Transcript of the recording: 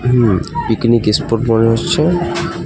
হম picnic spot মনে হচ্ছে .